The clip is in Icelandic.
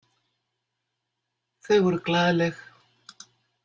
Þau voru glaðleg.